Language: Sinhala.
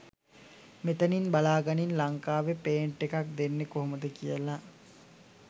මෙතනින් බලාගනින් ලංකාවෙ පේටන්ට් එකක් දෙන්නෙ කොහොමද කියල.